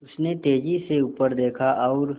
उसने तेज़ी से ऊपर देखा और